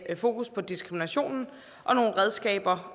fokus på diskriminationen og nogle redskaber